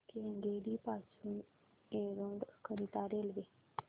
केंगेरी पासून एरोड करीता रेल्वे